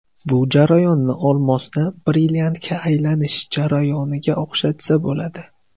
Bu jarayonni olmosni brilliantga aylanish jarayoniga o‘xshatsa bo‘ladi.